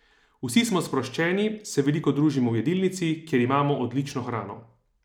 Vsi smo sproščeni, se veliko družimo v jedilnici, kjer imamo odlično hrano.